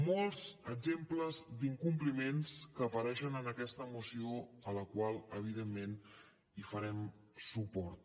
molts exemples d’incompliments que apareixen en aquesta moció a la qual evidentment farem suport